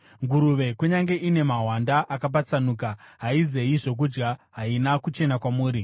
Nguruve kunyange ine mahwanda akanyatsopatsanuka, haizeyi zvokudya, haina kuchena kwamuri.